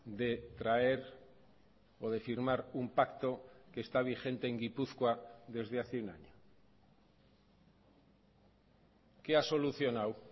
de traer o de firmar un pacto que está vigente en gipuzkoa desde hace un año qué ha solucionado